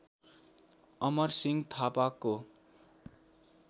अमरसिंह थापाको